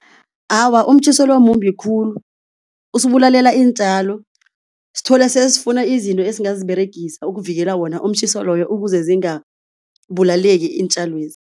Awa umtjhiso lo mumbi khulu usibulalela iintjalo, sithole sesifuna izinto esingaziberegisa ukuvikela wona umtjhiso loyo ukuze zingabulaleki iintjalwezi.